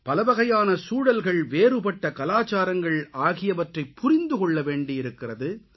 பலவகையான சூழ்நிலைகள் வேறுபட்ட கலாச்சாரங்கள் ஆகியவற்றைப் புரிந்து கொள்ளவேண்டியிருக்கிறது